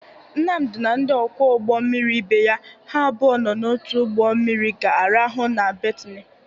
Nnamdị na ndị ọkwọ ụgbọ mmiri ibe ya ha abụọ nọ n'otu ụgbọ mmiri ga-arahụ na betini